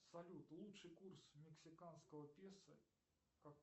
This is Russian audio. салют лучший курс мексиканского песо